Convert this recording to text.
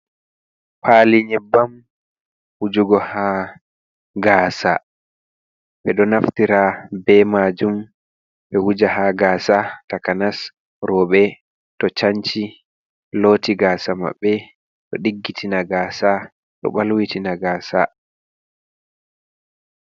Pali nyebbam wujugo ha gaasa. Ɓedo naftira be majum ɓe wuja ha gasa takanas roɓe to canci, loti gasa maɓɓe ɗo diggitina gaasa, ɗo ɓalwitina gasa.